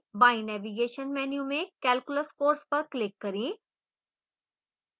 बाईं navigation menu में calculus course पर click करें